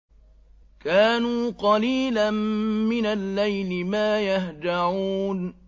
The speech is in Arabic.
كَانُوا قَلِيلًا مِّنَ اللَّيْلِ مَا يَهْجَعُونَ